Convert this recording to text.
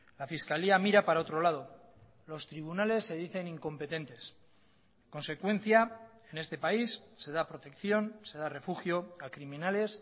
la fiscalía mira para otro lado los tribunales se dicen incompetentes consecuencia en este país se da protección se da refugio a criminales